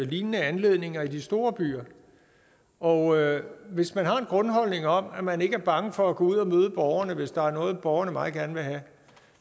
lignende anledninger i de store byer og hvis man har en grundholdning om at man ikke er bange for at gå ud og møde borgerne hvis der er noget borgerne meget gerne vil have